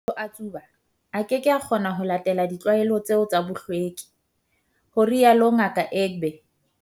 "Ha motho a tsuba, a keke a kgona ho latela ditlwaelo tseo tsa bohlweki," ho rialo Ngaka Egbe.